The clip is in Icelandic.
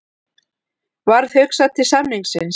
Varð hugsað til samningsins.